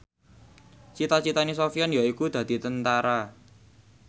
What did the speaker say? cita citane Sofyan yaiku dadi Tentara